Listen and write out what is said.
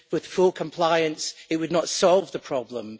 With full compliance, it would not solve the problem.